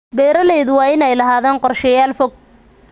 Beeralayda waa inay lahaadaan qorshayaal fog.